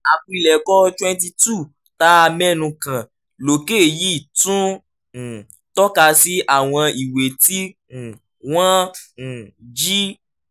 àpilẹ̀kọ twenty two tá a mẹ́nu kàn lókè yìí tún um tọ́ka sí àwọn ìwé tí um wọ́n um jí